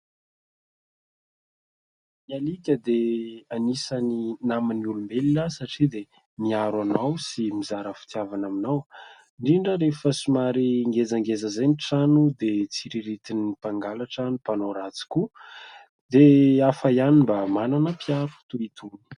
Ny alika dia anisan'ny naman'ny olombelona satria dia miaro anao sy mizara fitiavana aminao ; indrindra rehefa somary ngezangeza izay ny trano dia tsiriritin'ny mpangalatra, ny mpanao ratsy koa, dia hafa ihany mba manana mpiaro toy itony.